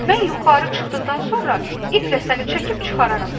"Mən yuxarı çıxdıqdan sonra iplə səni çəkib çıxararam."